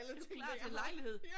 Du er klar til en lejlighed